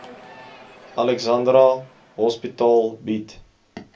alexandra hospitaal bied